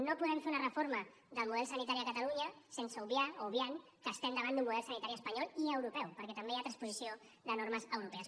no podem fer una reforma del model sanitari a catalunya sense obviar o obviant que estem davant d’un model sanitari espanyol i europeu perquè també hi ha transposició de normes europees